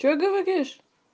что говоришь